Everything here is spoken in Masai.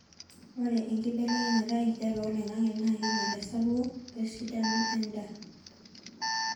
ore enkibelekenya enkijape oloingangi naa keinyal esapuko we esidano endaa